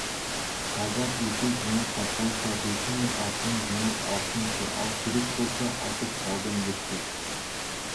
талдап өсек жинап таратқанша төсі мен артын жинап алсыншы ал керек болса айтып салдым депті